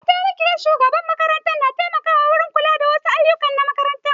Mataimakiyar shugaban makaranta na taimako wurin kula da wa su ayyuka na makaranta